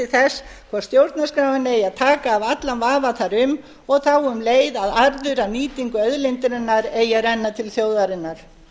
þess hvort stjórnarskráin eigi að taka af allan vafa þar um og þá um leið að arður af nýtingu auðlindarinnar eigi að renna til þjóðarinnar